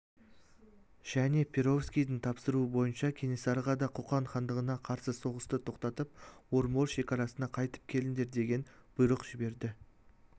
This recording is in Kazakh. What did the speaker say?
және перовскийдің тапсыруы бойынша кенесарыға да қоқан хандығына қарсы соғысты тоқтатып орынбор шекарасына қайтып келіңдер деген бұйрық жіберді